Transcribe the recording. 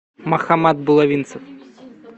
мохаммад булавинцев